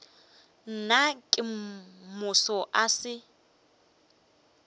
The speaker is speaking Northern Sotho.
nna ka moso a se